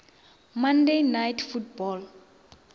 monday night football